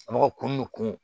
Mɔgɔw kun bɛ kun